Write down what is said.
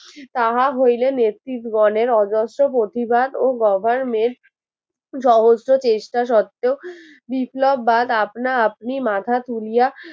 তাহা হইলে নেত্রীগণের অজস্র প্রতিবাদ ও government সহস্র চেষ্টা শর্তেও বিপ্লব বান আপনা আপনি মাথা তুলিয়া